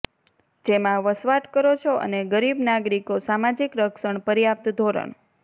જેમાં વસવાટ કરો છો અને ગરીબ નાગરિકો સામાજિક રક્ષણ પર્યાપ્ત ધોરણ